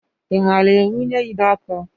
I maara ewunye ide ọkụ?